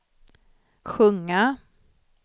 sjunga